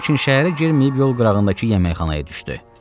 Lakin şəhərə girməyib yol qırağındakı yeməkxanaya düşdü.